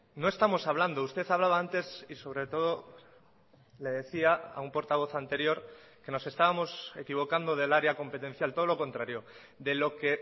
no estamos hablando usted hablaba antes y sobre todo le decía a un portavoz anterior que nos estábamos equivocando del área competencial todo lo contrario de lo que